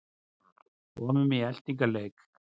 Komum í eltingaleik